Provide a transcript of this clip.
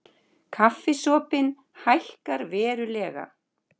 Kaffisopinn hækkar verulega